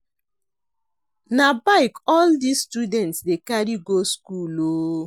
Na bike all dese students dey carry go skool o.